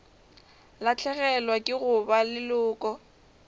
lahlegelwa ke go ba leloko